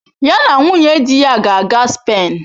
Ya na nwunye di ya ga-aga Spen.